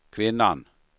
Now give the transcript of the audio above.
kvinnan